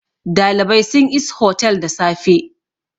dalibai sun is hotel da safe